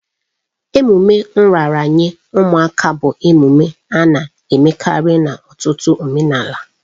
Ememe nraranye ụmụaka bụ emume a na-emekarị n'ọtụtụ omenala.